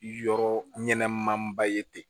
Yɔrɔ ɲɛnɛman ba ye ten